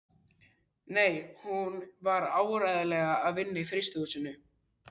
Nei, hún var áreiðanlega að vinna í frystihúsinu.